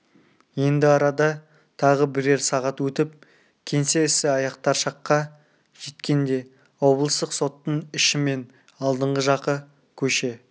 енді арада тағы бірер сағат өтіп кеңсе ісі аяқтар шаққа жеткенде облыстық соттың іші мен алдыңғы жағы көше